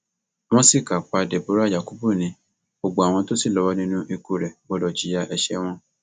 wọn ṣìkà pa deborah yakubu ni gbogbo àwọn tó ṣì lọwọ nínú ikú rẹ gbọdọ jìyà ẹṣẹ wọn